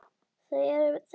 Þau eru þessi